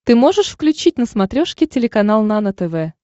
ты можешь включить на смотрешке телеканал нано тв